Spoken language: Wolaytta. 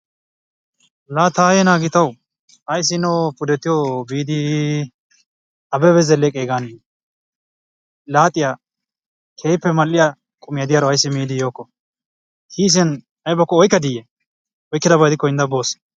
La taayye naa gitaawa ayssi hino pudettiyo biidi Abebe Zeleqqegan laaxiya keehippe mal''iya qumiyaa diyaro ayssi miidi yooko? Kiisen aybbakko oykkaddiye? oykkidaba gidikko hindda boos.